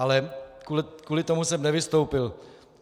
Ale kvůli tomu jsem nevystoupil.